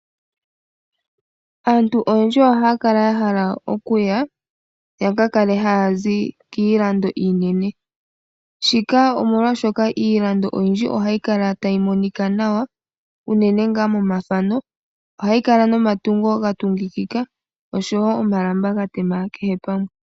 Aantu oyendji ohaya kala ya hala okuya yaka kale haya zi kiilando iinene shika omolwashoka iilando oyindji ohayi kala tayi monika nawa unene momathano ohayi kala nomatungo ga tungikika nomalamba ga tema kehe pamwe.